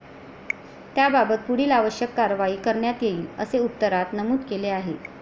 त्याबाबत पुढील आवश्यक कारवाई करण्यात येईल, असे उत्तरात नमूद केले आहे.